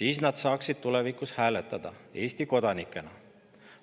siis nad saaksid tulevikus hääletada Eesti kodanikena.